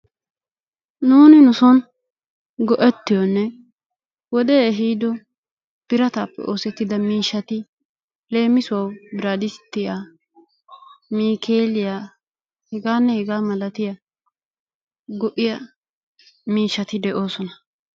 Nuuni nu son go'ettiyonne wodee ehiido biraataappe oosettida miishshati leemissuwawu biraadistiya, niikeeliya hegaanne hegaa malattiya go"iya miishshati de'oososona